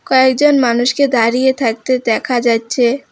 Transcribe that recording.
কয়েকজন মানুষকে দাঁড়িয়ে থাকতে দেখা যাচ্ছে।